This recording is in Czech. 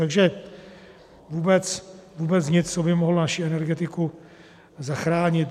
Takže vůbec nic, co by mohlo naši energetiku zachránit.